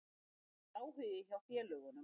Það var áhugi frá öðrum félögum.